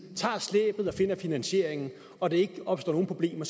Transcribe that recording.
tager slæbet og finder finansieringen og der ikke opstår nogen problemer